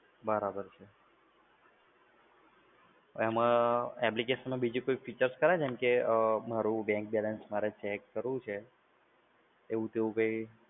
બરાબર છે. એમા application માં બીજા કોઈ features ખરા? જેમ કે મારૂ bank balance મારે check કરવું છે, એવું કઈ?